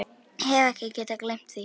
Hef ekki getað gleymt því.